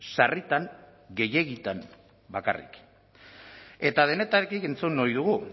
sarritan gehiegitan bakarrik eta denetarik entzun ohi dugu